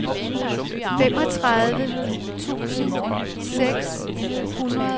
femogtredive tusind seks hundrede og toogtredive